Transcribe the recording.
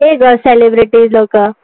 ते ग celebrity लोकं